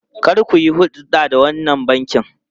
Kar ku yi hurɗa da wannan bankin!